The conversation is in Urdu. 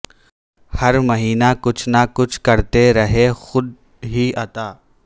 ہر مہینہ کچھ نہ کچھ کرتے رہے خود ہی عطا